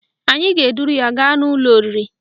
Anyị ga-eduru ya gaa n'ụlọ oriri